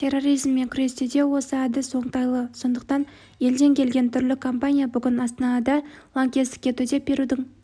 терроризммен күресте де осы әдіс оңтайлы сондықтан елден келген түрлі компания бүгін астанада лаңкестікке төтеп берудің